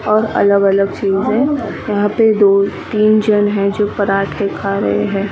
और अलग अलग चीज हैं यहाँ पे दोतीन जन हैं जो पराठे खा रहे हैं ।